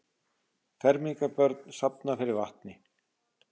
Fermingarbörn safna fyrir vatni